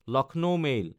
Lucknow mail